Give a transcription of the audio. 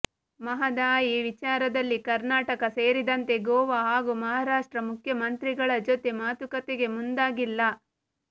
ಮಹದಾಯಿ ವಿಚಾರದಲ್ಲಿ ಕರ್ನಾಟಕ ಸೇರಿದಂತೆ ಗೋವಾ ಹಾಗೂ ಮಹಾರಾಷ್ಟ್ರ ಮುಖ್ಯಮಂತ್ರಿಗಳ ಜೊತೆ ಮಾತುಕತೆಗೆ ಮುಂದಾಗಿಲ್ಲ